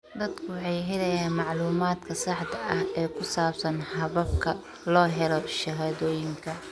Dadku waxay helayaan macluumaadka saxda ah ee ku saabsan hababka loo helo shahaadooyinka.